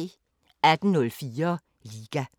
18:04: Liga